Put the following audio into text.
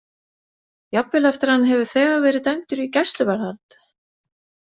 Jafnvel eftir að hann hefur þegar verið dæmdur í gæsluvarðhald?